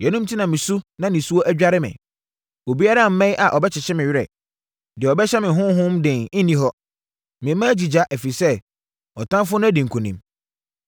“Yeinom enti na mesu na nisuo adware me. Obiara mmɛn a ɔbɛkyekye me werɛ. Deɛ ɔbɛhyɛ me honhom den nni hɔ. Me mma agyigya ɛfiri sɛ ɔtamfoɔ no adi nkonim.”